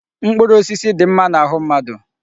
Mkpụrụ osisi dị mma n'ahụ mmadụ.